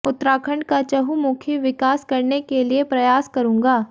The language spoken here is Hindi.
उत्तराखंड का चहुमुखी विकास करने के लिए प्रयास करूंगा